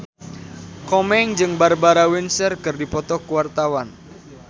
Komeng jeung Barbara Windsor keur dipoto ku wartawan